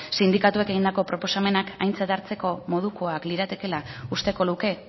sindikatuek egindako proposamenak aintzat hartzeko moduak liratekeela usteko luke